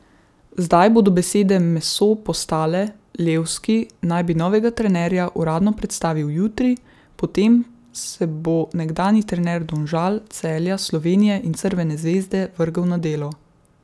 Zdaj bodo besede meso postale, Levski naj bi novega trenerja uradno predstavil jutri, potem se bo nekdanji trener Domžal, Celja, Slovenije in Crvene zvezde vrgel na delo.